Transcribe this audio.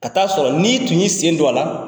Ka t'a sɔrɔ ni tun y'i sen don a la.